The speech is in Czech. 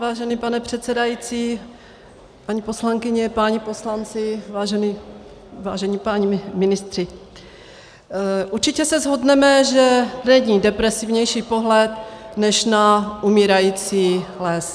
Vážený pane předsedající, paní poslankyně, páni poslanci, vážení páni ministři, určitě se shodneme, že není depresivnější pohled než na umírající les.